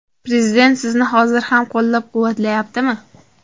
Prezident sizni hozir ham qo‘llab-quvvatlayaptimi?